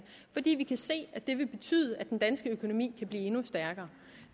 fordi vi kan se at det vil betyde at den danske økonomi kan blive endnu stærkere